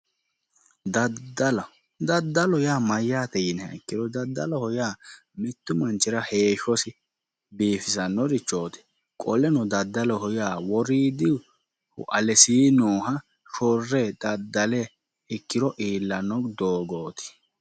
daddala daddalu yaa mayyaate yiniha ikkiro mittu manchira heeshshosi biifisannorichooti qoleno daddaloho yaa woriidihu alesii nooha shorre daddale ikkiro iillanno doogooti.